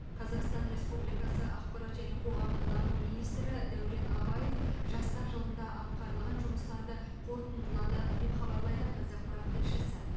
қазақстан республикасы ақпарат және қоғамдық даму министрі дәурен абаев жастар жылында атқарылған жұмыстарды қорытындылады деп хабарлайды қазақпарат тілшісі